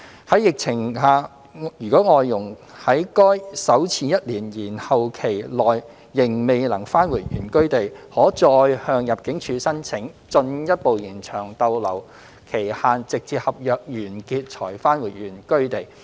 在疫情下，如外傭在該首次1年延後期內仍未能返回原居地，可再向入境處申請進一步延長逗留期限直至合約完結才返回原居地。